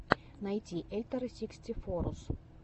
найти эльторросикстифоррус